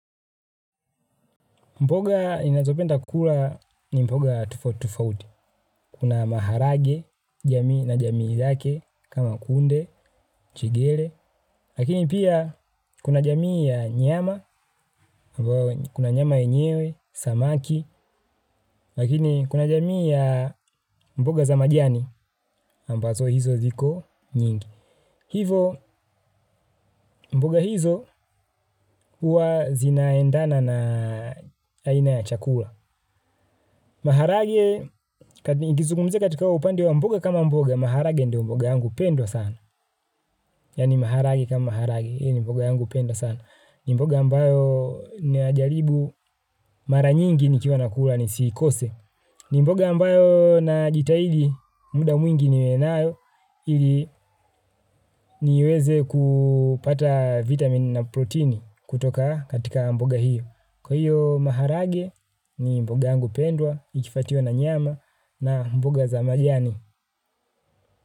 Mboga ninazopenda kula ni mboga tofauti tofauti, kuna maharagwe na jamii yake, kama kunde, njegere, lakini pia kuna jamii ya nyama, kuna nyama enyewe, samaki, lakini kuna jamii ya mboga za majani, ambazo hizo ziko nyingi. Hivyo mboga hizo huwa zinaendana na aina ya chakula. Maharagwe, nikizungumzia katika upande wa mboga kama mboga, maharagwe ndio mboga yangu pendwa sana. Yaani maharagwe kama haragwe, hii ni mboga yangu pendwa sana. Ni mboga ambayo ninajaribu mara nyingi nikiwa nakula nisikose. Mboga ambayo najitahidi, muda mwingi niwe nayo, ili niweze kupata vitamin na proteini kutoka katika mboga hiyo. Kwa hiyo maharagwe ni mboga yangu pendwa, ikifuatiliwa na nyama na mboga za majani.